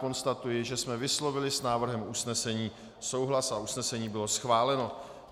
Konstatuji, že jsme vyslovili s návrhem usnesení souhlas a usnesení bylo schváleno.